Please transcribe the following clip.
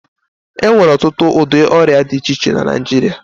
E nwere ọtụtụ ụdị ọrịa di iche iche na Naịjirịa.